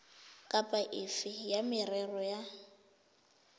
kapa efe ya merero ya